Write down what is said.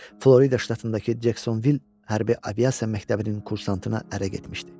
Florida ştatındakı Jeksonvil hərbi aviasiya məktəbinin kursantına ərə getmişdi.